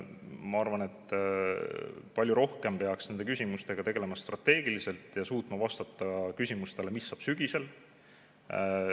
Ma arvan, et nende küsimustega peaks palju rohkem tegelema strateegiliselt ja suutma vastata küsimusele, mis saab sügisel.